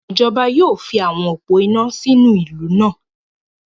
Ijọba yóò fi awọn opó iná sínú ìlú náà